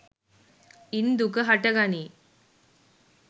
ඉන් දුක හට ගනී.